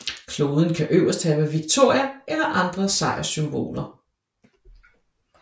Kloden kan øverst have Victoria eller andre sejrssymboler